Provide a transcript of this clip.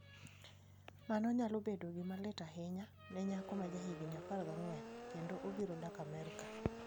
Mano nyalo bedo gima lit ahinya ne nyako ma jahigini 14kendo obiro dak Amerka".